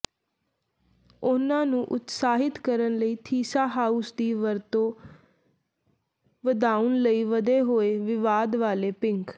ਉਹਨਾਂ ਨੂੰ ਉਤਸ਼ਾਹਿਤ ਕਰਨ ਲਈ ਥੀਸਾਰਾਉਸ ਦੀ ਵਰਤੋਂ ਵਧਾਉਣ ਲਈ ਵਧੇ ਹੋਏ ਵਿਵਾਦ ਵਾਲੇ ਪਿੰਕ